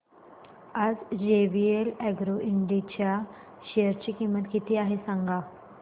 आज जेवीएल अॅग्रो इंड च्या शेअर ची किंमत किती आहे सांगा